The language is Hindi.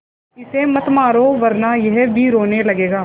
इसे मत मारो वरना यह भी रोने लगेगा